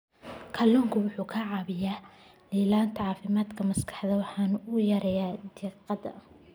Kalluunku waxa uu caawiyaa ilaalinta caafimaadka maskaxda waxana uu yareeyaa diiqada.